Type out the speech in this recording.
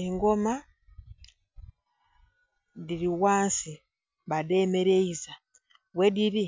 Engoma dhili ghansi badhemeleiza, ghedili